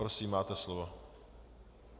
Prosím, máte slovo.